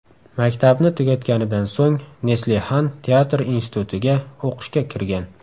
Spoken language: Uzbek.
Maktabni tugatganidan so‘ng Neslihan teatr institutiga o‘qishga kirgan.